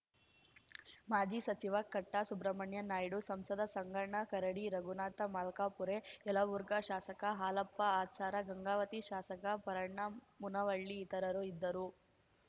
ಮಾಜಿ ಸಚಿವ ಕಟ್ಟಾಸುಬ್ರಹ್ಮಣ್ಯ ನಾಯ್ಡು ಸಂಸದ ಸಂಗಣ್ಣ ಕರಡಿ ರಘುನಾಥ ಮಲ್ಕಾಪುರೆ ಯಲಬುರ್ಗಾ ಶಾಸಕ ಹಾಲಪ್ಪ ಆಚಾರ ಗಂಗಾವತಿ ಶಾಸಕ ಪರಣ್ಣ ಮುನವಳ್ಳಿ ಇತರರು ಇದ್ದರು